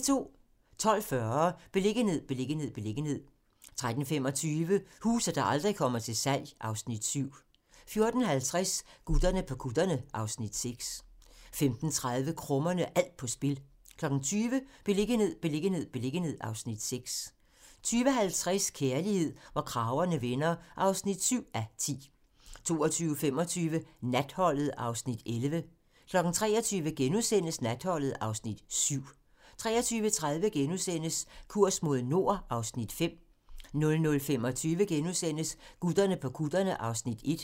12:40: Beliggenhed, beliggenhed, beliggenhed 13:25: Huse, der aldrig kommer til salg (Afs. 7) 14:50: Gutterne på kutterne (Afs. 6) 15:30: Krummerne - alt på spil 20:00: Beliggenhed, beliggenhed, beliggenhed (Afs. 6) 20:50: Kærlighed, hvor kragerne vender (7:10) 22:25: Natholdet (Afs. 11) 23:00: Natholdet (Afs. 7)* 23:30: Kurs mod nord (Afs. 5)* 00:25: Gutterne på kutterne (Afs. 1)*